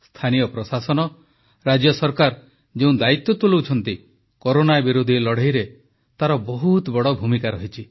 ସ୍ଥାନୀୟ ପ୍ରଶାସନ ରାଜ୍ୟ ସରକାର ଯେଉଁ ଦାୟିତ୍ୱ ତୁଲାଉଛନ୍ତି କରୋନା ବିରୋଧୀ ଲଢ଼େଇରେ ତାର ବହୁତ ବଡ଼ ଭୂମିକା ରହିଛି